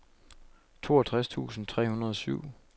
toogtres tusind tre hundrede og syv